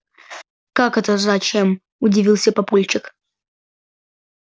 как это зачем удивился папульчик